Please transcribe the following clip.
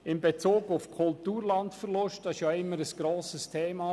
Bei solchen Projekten ist der Kulturlandverlust immer ein grosses Thema.